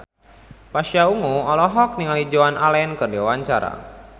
Pasha Ungu olohok ningali Joan Allen keur diwawancara